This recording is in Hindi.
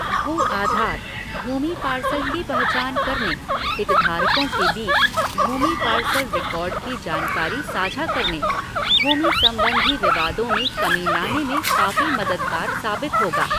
भू आधार, भूमि पार्सल की पहचान करने, हितधारकों के बीच भूमि पार्सल रिकाॅर्ड की जानकारी साझा करने, भूमि संबंधी विवादों में कमी लाने में काफी मददगार साबति होगा।